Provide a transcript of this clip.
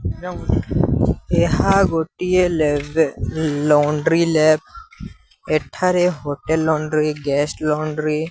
ଏହା ଗୋଟିଏ library laundry lab. ଏଠାରେ ହୋଟେଲ ଲଣ୍ଡ୍ରି ଗେଷ୍ଟ ଲଣ୍ଡ୍ରି --